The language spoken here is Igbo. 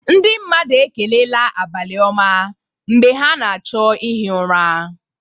Ndị mmadụ ekelela "abalị-oma"mgbe ha na-achọ ihi ụra.